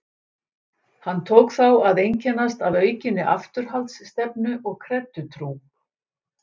Hann tók þá að einkennast af aukinni afturhaldsstefnu og kreddutrú.